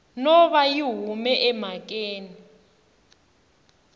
no va yi hume emhakeni